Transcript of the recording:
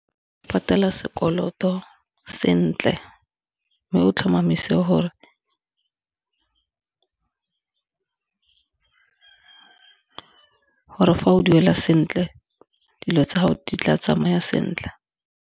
Patela sekoloto sentle, mme o tlhomamise gore fa o duela sentle dilo tsa gago di tla tsamaya sentle.